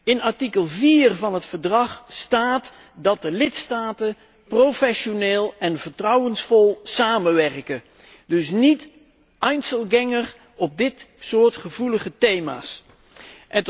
In artikel 4 van het Verdrag staat dat de lidstaten professioneel en vertrouwensvol samenwerken, dus niet als Einzelgänger op dit soort gevoelige thema's te werk gaan.